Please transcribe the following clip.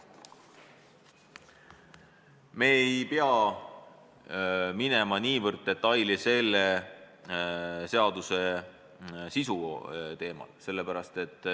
Me ei pea minema selle seaduse sisu detailidesse.